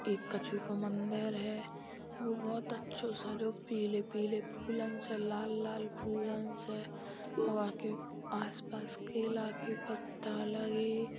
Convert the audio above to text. ये कछु का मंदिर है। वो बोहोत अच्छों सजो पीले-पीले फूलन से लाल-लाल फूलन से। वा के आस-पास केला के पत्ता लगे।